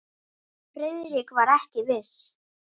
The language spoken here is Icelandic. Friðrik var ekki viss.